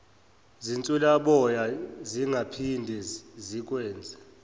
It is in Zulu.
zinswelaboya zingaphinde zikwenze